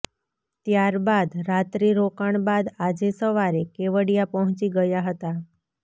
ત્યારબાદ રાત્રી રોકાણ બાદ આજે સવારે કેવડિયા પહોંચી ગયા હતા